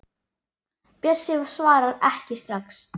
Bjössi svarar ekki strax.